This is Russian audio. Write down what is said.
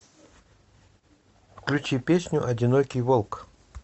включи песню одинокий волк